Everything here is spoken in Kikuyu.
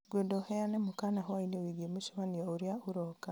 ngwenda ũheane mũkaana hwaĩinĩ wĩgiĩ mũcemanio ũrĩa ũroka